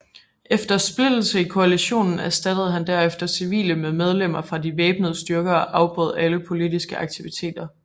Efter splittelse i koalitionen erstattede han derefter civile med medlemmer fra de væbnede styrker og afbrød alle politiske aktiviteter